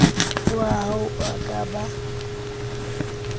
hoa ho a ka ba